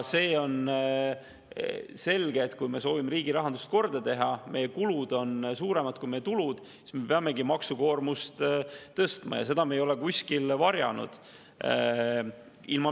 See on selge, et kui me soovime riigi rahandust korda teha, sest meie kulud on suuremad kui tulud, siis me peamegi maksukoormust tõstma – seda me ei ole kuskil varjanud.